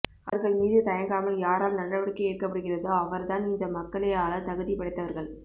அவர்கள் மீது தயங்காமல் யாரால் நடவடிக்கை எடுக்கபடுகிறதோ அவர் தான் இந்த மக்களை ஆள தகுதி படைத்தவர்கள்